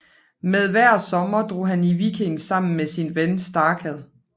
Med hver sommer drog han i viking sammen med sin ven Starkad